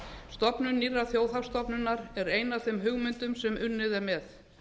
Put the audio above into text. stofnun nýrrar þjóðhagsstofnunar er ein af þeim hugmyndum sem unnið er með